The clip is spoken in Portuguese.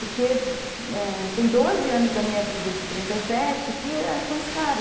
Porque tem doze anos da minha vida de trinta e sete que é com esse cara.